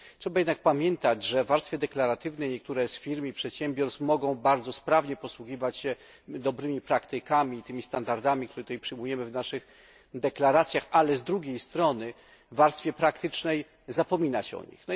Trzeba jednak pamiętać, że w warstwie deklaratywnej niektóre z firm i przedsiębiorstw mogą bardzo sprawnie posługiwać się dobrymi praktykami i tymi standardami, które tutaj przywołujemy w naszych deklaracjach, ale z drugiej strony w warstwie praktycznej zapomina się o nich.